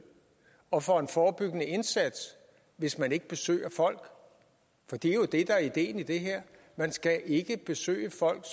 og for en forebyggende indsats hvis man ikke besøger folk for det er jo det der er ideen i det her man skal ikke besøge folk